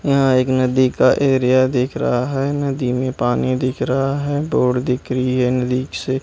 यहां एक नदी का एरिया दिख रहा है नदी में पानी दिख रहा है बोट दिख रही है नदी से।